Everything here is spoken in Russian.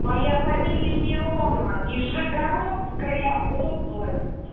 моя фамилия миронова нижегородская область